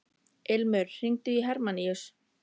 Ilmur, hringdu í Hermanníus.